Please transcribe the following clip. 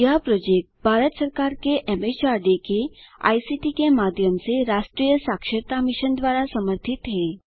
यह प्रोजेक्ट भारत सरकार के एमएचआरडी के आईसीटी के माध्यम से राष्ट्रीय साक्षरता मिशन द्वारा समर्थित है